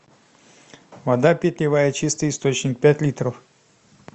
вода питьевая чистый источник пять литров